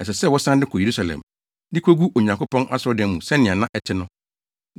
ɛsɛ sɛ wɔsan de kɔ Yerusalem, de kogu Onyankopɔn asɔredan no mu sɛnea na ɛte no.